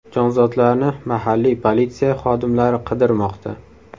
Jonzotlarni mahalliy politsiya xodimlari qidirmoqda.